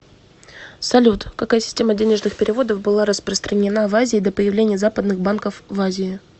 салют какая система денежных переводов была распространена в азии до появления западных банков в азии